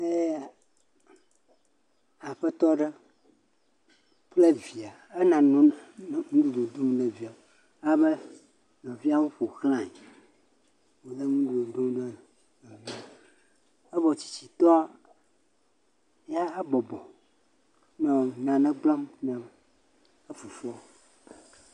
Ee Aƒetɔ ɖe kple via ena nuɖu dom ne via abe ɖeviawo ƒo xlae wole nuɖuɖu dom ne evɔ tsitsitɔ yahã bɔbɔ nɔ nane gblɔm ne efofoa.